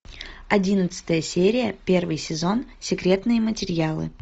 одиннадцатая серия первый сезон секретные материалы